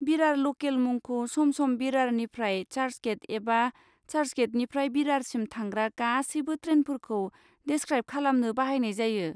बिरार लकेल मुंखौ सम सम बिरारनिफ्राय चार्चगेट एबा चार्चगेटनिफ्राय बिरारसिम थांग्रा गासैबो ट्रेनफोरखौ डेसक्राइब खालामनो बाहायनाय जायो।